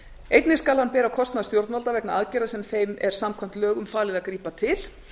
einnig skal hann bera kostnað stjórnvalda vegna aðgerða sem þeim er samkvæmt lögum falið að grípa til